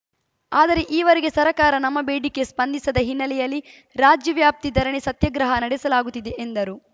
ಆದರೆ ಈವರೆಗೆ ಸರ್ಕಾರ ನಮ್ಮ ಬೇಡಿಕೆ ಸ್ಪಂದಿಸದ ಹಿನ್ನೆಲೆಯಲ್ಲಿ ರಾಜ್ಯವ್ಯಾಪ್ತಿ ಧರಣಿ ಸತ್ಯಾಗ್ರಹ ನಡೆಸಲಾಗುತ್ತಿದೆ ಎಂದರು